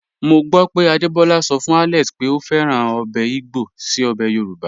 Mo gbọ pé Adebola sọ fun Alex pé o fẹ́ràn obè igbo sí obè Yorùbá.